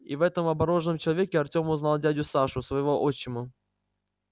и в этом обмороженном человеке артем узнал дядю сашу своего отчима